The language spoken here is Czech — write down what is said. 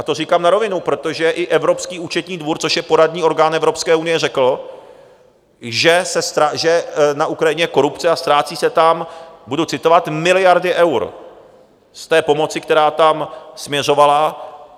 A to říkám na rovinu, protože i Evropský účetní dvůr, což je poradní orgán Evropské unie, řekl, že na Ukrajině je korupce a ztrácí se tam - budu citovat - miliardy eur z té pomoci, která tam směřovala.